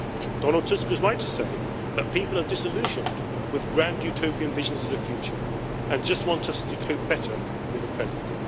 Donald Tusk was right to say that people are disillusioned with grand utopian visions of the future and just want us to cope better with the present.